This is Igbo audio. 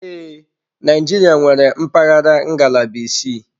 Ee, Naijiria nwere mpaghara ngalaba isii.